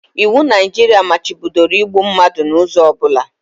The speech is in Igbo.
Iwu Naijiria machibidoro igbu mmadụ n'ụzọ ọ bụla